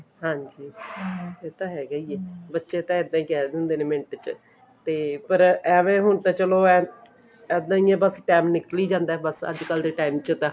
ਹਾਂਜੀ ਇਹ ਤਾਂ ਹੈਗਾ ਹੀ ਆ ਬੱਚੇ ਤਾਂ ਇੱਦਾਂ ਹੀ ਕਿਹ ਦਿੰਦੇ ਨੇ ਮਿੰਟ ਚ ਪਰ ਏਵੇਂ ਹੁਣ ਤਾਂ ਚਲੋ ਇੱਦਾਂ ਹੀ ਹੈ ਬਸ time ਨਿਕਲੀ ਜਾਂਦਾ ਬੱਸ ਅੱਜਕਲ ਦੇ time ਚ ਨਾ